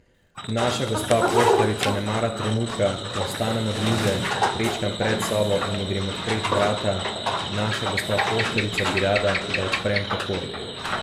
Naša gospa poštarica ne mara trenutka, ko vstanem od mize, prečkam predsobo in ji grem odpret vrata, naša gospa poštarica bi rada, da odprem takoj.